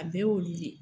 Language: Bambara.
A bɛɛ y'olu le ye